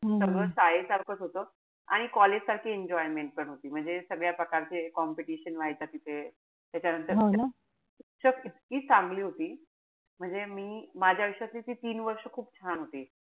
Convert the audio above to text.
सगळं शाळेसारखंच होत. आणि college सारखी enjoyment पण होती. म्हणजे सगळ्या प्रकारचे competition व्हायच्या तिथे. त्याच्यानंतर शिक्षक इतकी चांगली होती. म्हणजे मी माझ्या आयुष्यातली ती तीन वर्ष खूप छान होती.